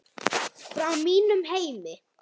Frá mínum heimi.